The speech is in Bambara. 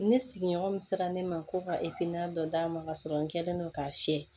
Ne sigiɲɔgɔn min sera ne ma ko ka dɔ d'a ma ka sɔrɔ n kɛlen don k'a fiyɛ